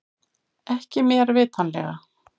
Ekki mér vitanlega